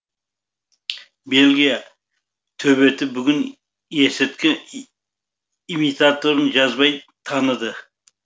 бельгия төбеті бүгін есірткі имитаторын жазбай таныды